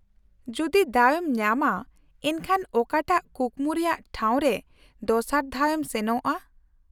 -ᱡᱩᱫᱤ ᱫᱟᱣ ᱮᱢ ᱧᱟᱢᱟ ᱮᱱᱠᱷᱟᱱ ᱚᱠᱟᱴᱟᱜ ᱠᱩᱠᱢᱩ ᱨᱮᱭᱟᱜ ᱴᱷᱟᱣ ᱨᱮ ᱫᱚᱥᱟᱨ ᱫᱷᱟᱣ ᱮᱢ ᱥᱮᱱᱚᱜᱼᱟ ?